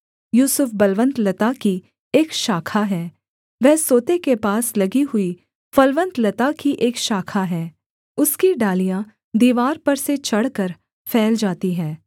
यूसुफ बलवन्त लता की एक शाखा है वह सोते के पास लगी हुई फलवन्त लता की एक शाखा है उसकी डालियाँ दीवार पर से चढ़कर फैल जाती हैं